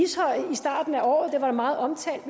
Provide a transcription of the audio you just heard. starten af året det var meget omtalt og